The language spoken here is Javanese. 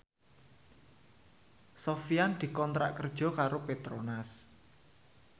Sofyan dikontrak kerja karo Petronas